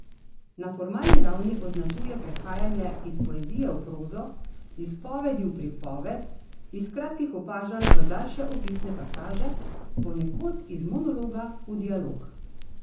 Na formalni ravni označuje prehajanje iz poezijo v prozo, izpovedi v pripoved, iz kratkih opažanj v daljše opisne pasaže, ponekod iz monologa v dialog.